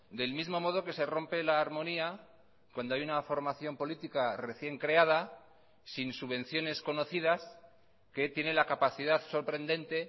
del mismo modo que se rompe la armonía cuando hay una formación política recién creada sin subvenciones conocidas que tiene la capacidad sorprendente